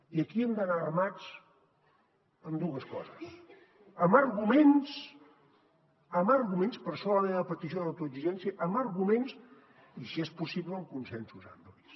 i aquí hem d’anar armats amb dues coses amb arguments per això la meva petició d’autoexigència i si és possible amb consensos amplis